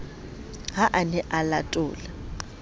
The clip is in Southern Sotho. ha a ne a latola